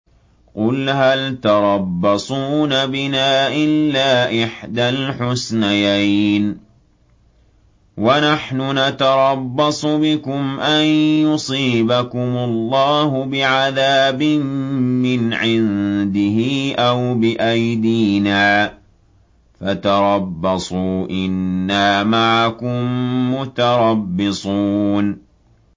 قُلْ هَلْ تَرَبَّصُونَ بِنَا إِلَّا إِحْدَى الْحُسْنَيَيْنِ ۖ وَنَحْنُ نَتَرَبَّصُ بِكُمْ أَن يُصِيبَكُمُ اللَّهُ بِعَذَابٍ مِّنْ عِندِهِ أَوْ بِأَيْدِينَا ۖ فَتَرَبَّصُوا إِنَّا مَعَكُم مُّتَرَبِّصُونَ